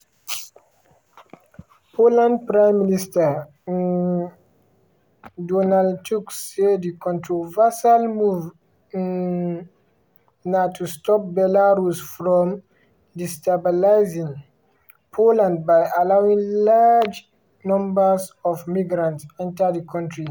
poland prime minister um donald tusk say di controversial move um na to stop belarus from "destabilising" poland by allowing large numbers of migrants enta di kontri.